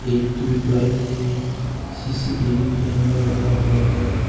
एक ट्यूबलाईट है CCTV camera लगा हुआ है।